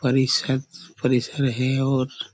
परिसर परिषद है और--